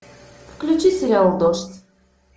включи сериал дождь